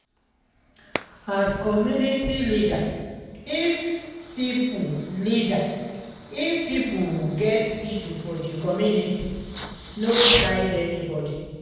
as community leader if pipo leader if pipo get issue for di community no side anybody